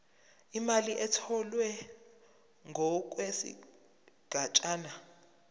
imali etholwe ngokwesigatshana